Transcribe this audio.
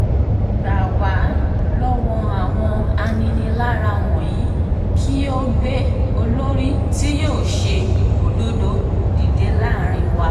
gbà wá lọ́wọ́ àwọn aninilára wọ̀nyí kí o gbé olórí tí yóò ṣe òdodo dìde láàrin wa